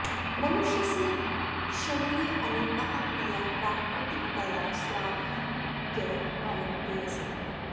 मनुष्यस्य शरीरे अनेकाः क्रियाः प्राकृतिकतया स्वाभिक्यः भवन्त्यः सन्ति